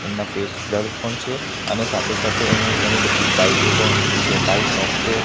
એમના face blur પણ છે અને સાથે-સાથે અહીં ઘણી-બધી બાઈકો પણ મૂકી છે બાઈક મેસ્ટ્રો --